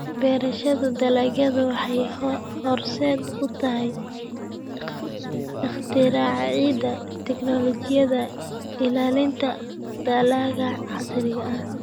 Beerashada dalaggu waxay horseed u tahay ikhtiraacida tignoolajiyada ilaalinta dalagga casriga ah.